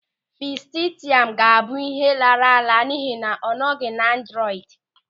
Fesịtaịm ga-abụ ịhe lara ala n'ihi na ọ nọghị na androidi.